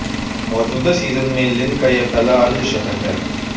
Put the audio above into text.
मौजूदा सीजन में लिन का ये पहला अर्धशतक है